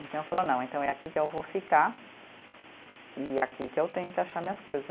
Então, eu falo, não, então é aqui que eu vou ficar e aqui que eu tenho que achar minhas coisas.